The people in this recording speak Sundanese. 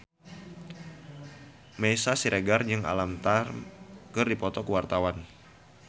Meisya Siregar jeung Alam Tam keur dipoto ku wartawan